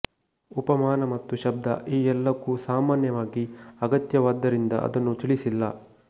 ಉಪಮಾನ ಮತ್ತು ಶಬ್ದ ಈ ಎಲ್ಲಕ್ಕೂ ಸಾಮಾನ್ಯವಾಗಿ ಅಗತ್ಯವಾದ್ದರಿಂದ ಅದನ್ನು ತಿಳಿಸಿಲ್ಲ